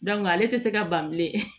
ale tɛ se ka ban bilen